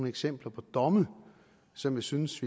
eksempler på domme som jeg synes